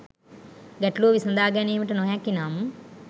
ගැටලූව විසදා ගැනීමට නොහැකි නම්